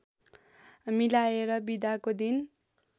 मिलाएर बिदाको दिन